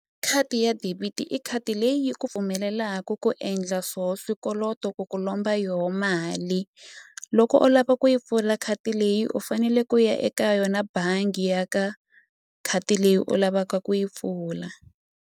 Khadi ya debit i khadi leyi yi ku pfumelelaku ku endla swo swikoloto ku ku lomba yo mali loko u lava ku yi pfula khadi leyi u fanele ku ya eka yona bangi ya ka khadi leyi u lavaka ku yi pfula.